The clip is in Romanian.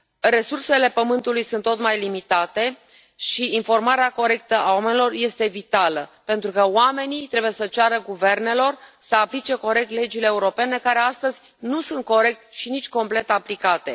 Resursele Pământului sunt tot mai limitate și informarea corectă a oamenilor este vitală, pentru că oamenii trebuie să ceară guvernelor să aplice corect legile europene care astăzi nu sunt corect și nici complet aplicate.